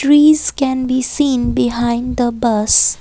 Trees can be seen behind the bus.